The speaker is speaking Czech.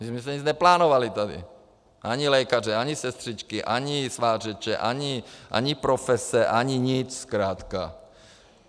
My jsme nic neplánovali tady - ani lékaře, ani sestřičky, ani svářeče, ani profese, ani nic zkrátka!